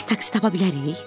Tez taksi tapa bilərik?